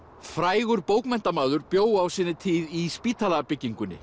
frægur bókmenntamaður bjó á sinni tíð í